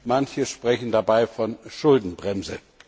Manche sprechen dabei von Schuldenbremse.